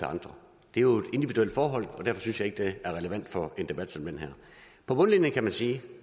andre det er jo et individuelt forhold og derfor synes jeg ikke at det er relevant for en debat som den her på bundlinjen kan man sige at